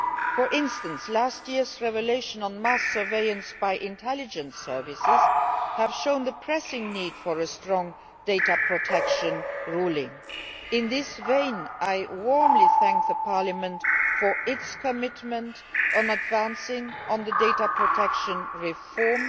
For instance, last year's revelations on mass surveillance by intelligence services have shown the pressing need for a strong data protection ruling. In this vein I warmly thank Parliament for its commitment to advancing our data protection reform.